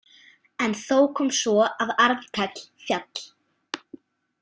En þó kom svo að Arnkell féll.